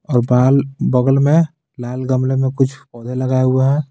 और बाल बगल में लाल गमले में कुछ पौधे लगाए हुए हैं.